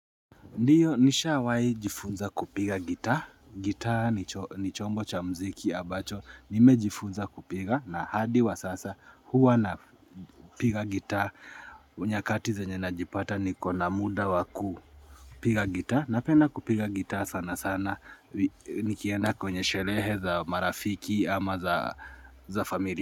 Ndiyo nisha wai jifunza kupiga gitaa, gitaa ni chombo cha mziki abacho, nimejifunza kupiga na hadi wa sasa huwa na piga gitaa, unyakati ze nye najipata ni kona muda waku piga gitaa, napenda kupiga gitaa sana sana, nikienda kwenye sherehe za marafiki ama za familia.